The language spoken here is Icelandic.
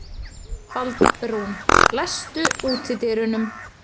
Baldrún, læstu útidyrunum.